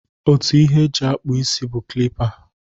Otu ihe e ji akpụ isi bụ klipa.